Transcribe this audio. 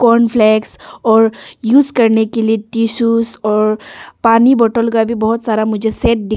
cornflakes और use करने के लिए टिशूज और पानी बॉटल का भी बहोत सारा मुझे सेट दिख--